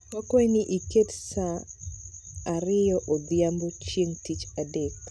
Wakwayi ni iket sa 2:00 odhiambo, chieng' Tich Adek